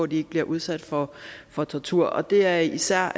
de ikke bliver udsat for for tortur og det er især